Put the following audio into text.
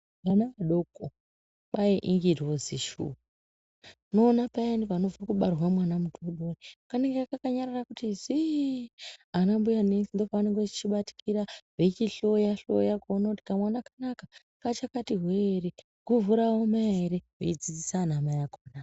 Mwana mudoko kwai ingirozi shuwa unoona payani panobva kubarwa mwana mudodori kanenge kakanyarara kuti ziii ana mbuya nesi ndopavanenge veichibatikira veichihloya hloya kuona kuti kwamwana kanaka kachakati hwee ere guvhu raoma ere veidzidzisa anamai akona.